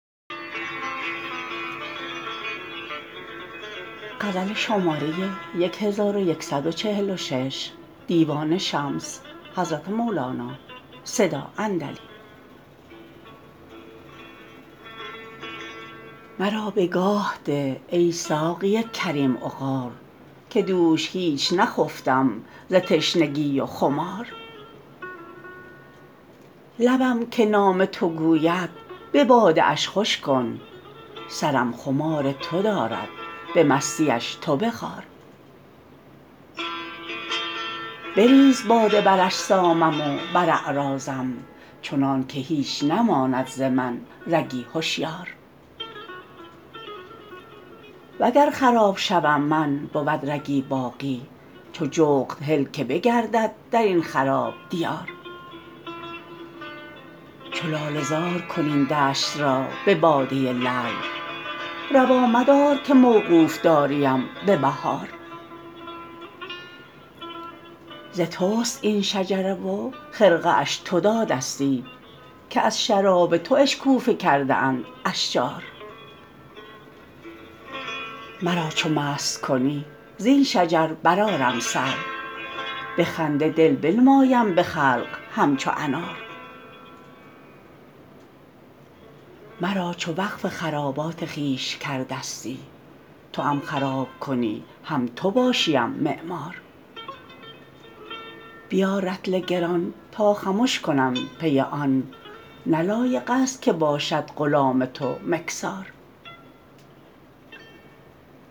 مرا بگاه ده ای ساقی کریم عقار که دوش هیچ نخفتم ز تشنگی و خمار لبم که نام تو گوید به باده اش خوش کن سرم خمار تو دارد به مستیش تو بخار بریز باده بر اجسامم و بر اعراضم چنانک هیچ نماند ز من رگی هشیار وگر خراب شوم من بود رگی باقی چو جغد هل که بگردد در این خراب دیار چو لاله زار کن این دشت را به باده لعل روا مدار که موقوف داریم به بهار ز توست این شجره و خرقه اش تو دادستی که از شراب تو اشکوفه کرده اند اشجار مرا چو مست کنی زین شجر برآرم سر به خنده دل بنمایم به خلق همچو انار مرا چو وقف خرابات خویش کردستی توام خراب کنی هم تو باشیم معمار بیار رطل گران تا خمش کنم پی آن نه لایقست که باشد غلام تو مکثار